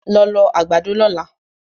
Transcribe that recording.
Lọ lọ àgbàdo lọ́la!